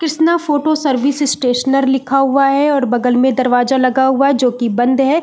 Krishna photo service stationer लिखा हुआ है और बगल मैं दरवाज़ा लगा हुआ है जो की बंध है।